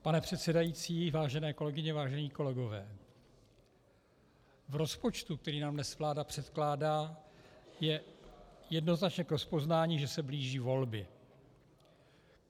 Pane předsedající, vážené kolegyně, vážení kolegové, v rozpočtu, který nám dnes vláda předkládá, je jednoznačně k rozpoznání, že se blíží volby.